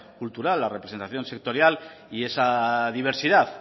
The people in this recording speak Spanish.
cultural la representación sectorial y esa diversidad